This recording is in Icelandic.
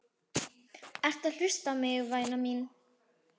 Ertu að hlusta á mig, væna mín?